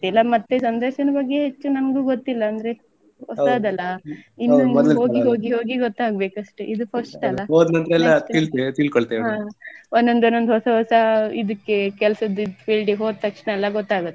ಗೊತ್ತಿಲ್ಲ ಮತ್ತೆ ಸಂದರ್ಶನದ ಬಗ್ಗೆ ಹೆಚ್ಚು ನಂಗು ಗೊತ್ತಿಲ್ಲ ಅಂದ್ರೆ ಹೊಸದಲ್ಲ ಇನ್ನು ಹೋಗಿ ಹೋಗಿ ಹೋಗಿ ಗೊತ್ತಾಗ್ಬೇಕು ಅಷ್ಟೆ ಇದು first ಅಲ್ಲ. ಒನ್ನೊಂದ್ ಒನ್ನೊಂದ್ ಹೊಸ ಹೊಸ ಇದಿಕ್ಕೆ ಕೆಲ್ಸದ್ದ್ field ಗೆ ಹೋದ್ ತಕ್ಷಣ ಎಲ್ಲ ಗೊತ್ತಾಗುತ್ತೆ.